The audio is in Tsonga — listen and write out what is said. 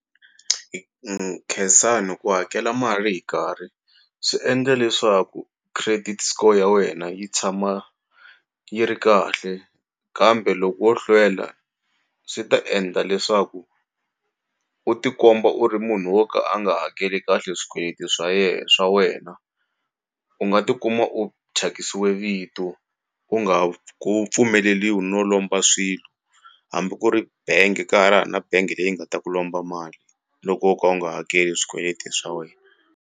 Khensani ku hakela mali hi nkarhi swi endla leswaku credit score ya wena yi tshama yi ri kahle kambe loko wo hlwela swi ta endla leswaku u tikomba u ri munhu wo ka a nga hakeli kahle swikweleti swa ye swa wena u nga tikuma u thyakisiwe vito u nga ku pfumeleliwi no lomba swilo hambi ku ri benge ka ha ri ha na benge leyi nga ta ku lomba mali loko u ka u nga hakeli swikweleti swa wena.